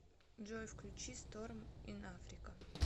джой включи стормс ин африка